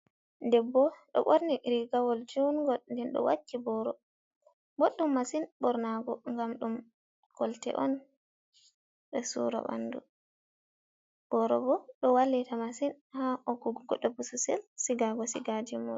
Ɗebb. ɗo borni rigawol juungol. Ɗen ɗo wakki boro. boddum masin bornago, gam dum golte on be sura bandu. borobo do wallita masin ha hokkugo debbo bosesel sigago sigajimon.